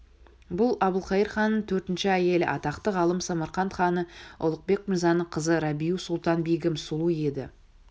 бұл әбілқайыр ханның төртінші әйелі атақты ғалым самарқант ханы ұлықбек мырзаның қызы рабиу-сұлтан-бегім сұлу еді